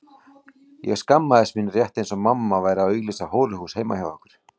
Ég skammaðist mín rétt eins og mamma væri að auglýsa hóruhús heima hjá okkur.